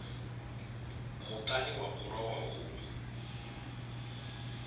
muṱani wa u lowa hu